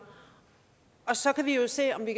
og så kan vi jo se om vi